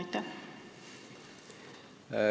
Aitäh!